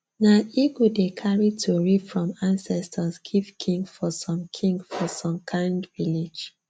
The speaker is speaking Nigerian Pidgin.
nah eagle dey cary tory from ancestors give king for some king for some kind village